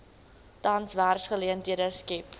tans werksgeleenthede skep